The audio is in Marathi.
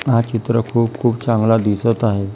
हा चित्र खूप खूप चांगला दिसत आहे.